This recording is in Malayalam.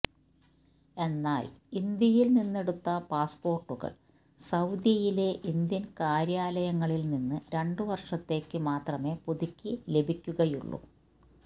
എന്നാൽ ഇന്ത്യയിൽ നിന്നെടുത്ത പാസ്പോർട്ടുകൾ സൌദിയിലെ ഇന്ത്യൻ കാര്യാലയങ്ങളിൽ നിന്ന് രണ്ട് വർഷത്തേക്ക് മാത്രമെ പുതുക്കി ലഭിക്കുകയുള്ളൂ